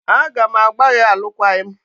A ga m agbà gị alụkwaghịm!